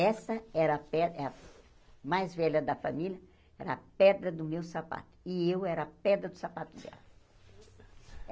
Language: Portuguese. Essa era a pe é a mais velha da família, era a pedra do meu sapato, e eu era a pedra do sapato dela.